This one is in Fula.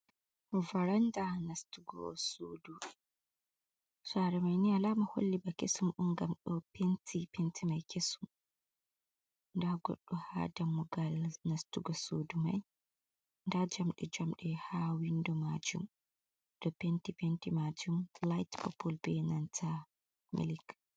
Varanda nastugo sudu, sare mai ni a lama holli ba kesum on ngam ɗo penti, penti mai kesum nda goɗɗo ha dammugal nastugo sudu mai, nda jamɗe jamɗe ha windo majum ɗo penti, penti majum light pople be nanta melik.